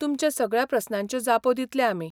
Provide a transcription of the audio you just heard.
तुमच्या सगळ्या प्रस्नांच्यो जापो दितले आमी.